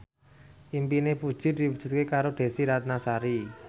impine Puji diwujudke karo Desy Ratnasari